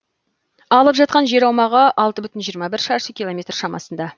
алып жатқан жер аумағы алты бүтін жиырма жеті шаршы километр шамасында